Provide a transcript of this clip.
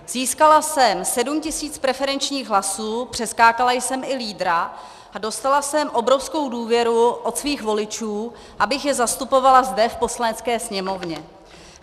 Získala jsem 7 tisíc preferenčních hlasů, přeskákala jsem i lídra a dostala jsem obrovskou důvěru od svých voličů, abych je zastupovala zde v Poslanecké sněmovně.